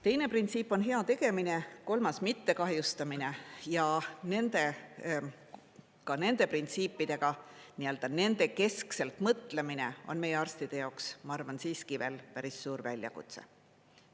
Teine printsiip on hea tegemine, kolmas mitte kahjustamine ja ka nende printsiipide keskselt mõtlemine on meie arstide jaoks, ma arvan, siiski veel päris suur väljakutse.